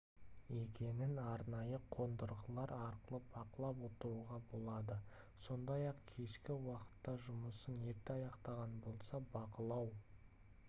екенін арнайы қондырғылары арқылы бақылап отыруға болады сондай-ақ кешкі уақытта жұмысын ерте аяқтаған болса бақылау